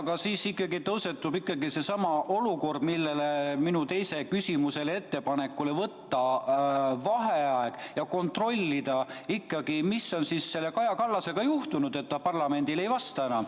Aga siis tõusetub ikkagi seesama olukord, millele viitas minu teise küsimuse ettepanek, et tuleks võtta vaheaeg ja kontrollida, mis on Kaja Kallasega juhtunud, et ta enam parlamendile ei vasta.